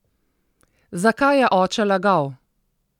Zakaj je oče lagal?